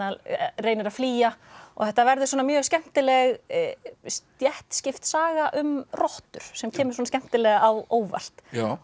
reynir að flýja og þetta verður mjög skemmtileg stéttskipt saga um rottur sem kemur svona skemmtilega á óvart